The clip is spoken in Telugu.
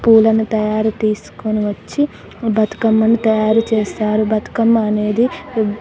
పూలను తయారు తీసుకుని వచ్చి బతుకమ్మను తయారుచేస్తారు బతుకమ్మ అనేది --